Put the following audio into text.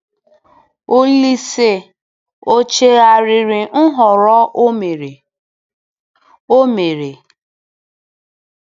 Olise ọ̀ chegharịrị nhọrọ o mere? o mere?